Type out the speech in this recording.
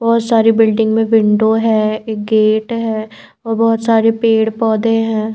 बहुत सारी बिल्डिंग में विंडो है एक गेट है और बहुत सारे पेड़ पौधे हैं।